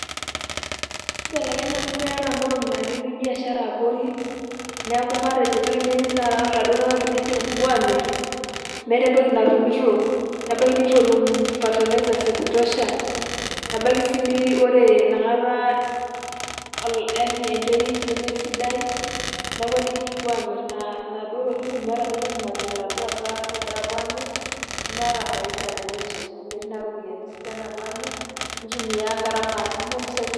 Kibelekenya amu keetae inkolong'i na ketii biashara abori, neeku matejo ebaiki ninye na ore laduo tung'anak tenejo kipuo aamir, meeta entoki natumito, nebaiki neitu etum fertilisers ekutosha, nebaiki si na ore inakata eh yani enterit nemesidai, neeku eneji kipuo amir inaduo tokiting',meeta nye entoki anapuo laduo asak, nemeeta faida teninche, amu metii naa ropiyaiani sidan napuo amir, nitumia gharama itumia impisai kumok.